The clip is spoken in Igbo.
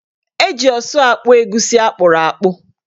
Eji ọsụ akpụ egusi akpụrụakpụ.